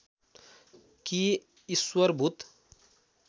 कि ईश्वर भूत